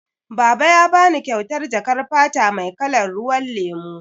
Baba ya bani kyautar jakar fata mai kalar ruwan lemu.